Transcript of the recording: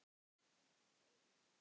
Þín Þórunn.